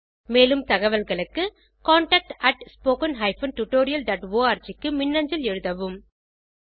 மேலும் தகவல்களுக்கு contactspoken tutorialorg க்கு மின்னஞ்சல் எழுதவும்